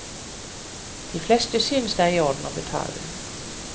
De fleste synes det er i orden å betale.